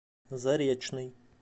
заречный